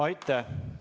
Aitäh!